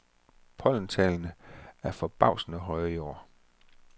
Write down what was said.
Pollentallene er forbavsende høje i år.